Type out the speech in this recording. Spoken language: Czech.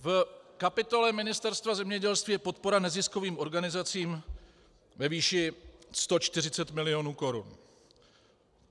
V kapitole Ministerstva zemědělství je podpora neziskovým organizacím ve výši 140 milionů korun.